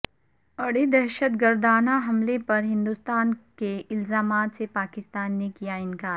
اڑی دہشت گردانہ حملے پر ہندوستان کے الزامات سے پاکستان نے کیا انکار